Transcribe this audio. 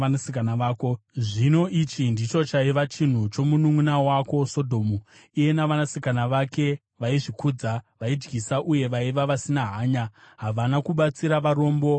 “ ‘Zvino ichi ndicho chaiva chivi chomununʼuna wako Sodhomu: Iye navanasikana vake, vaizvikudza vaidyisa uye vaiva vasina hanya; havana kubatsira varombo navanoshayiwa.